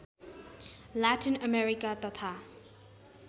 Latin America तथा